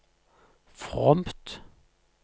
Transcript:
fromt